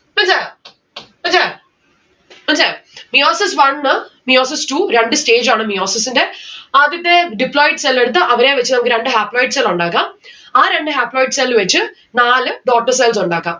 meiosis one meiosis two രണ്ട്‌ stage ആണ് meiosis ന്റെ. ആദ്യത്തെ deployed cell എടുത്ത് അവരെ വച്ച് നമ്മുക്ക് രണ്ട്‌ haploid cell ഉണ്ടാക്കാം. ആ രണ്ട്‌ haploid cell വച്ച് നാല് daughter cells ഉണ്ടാക്കാം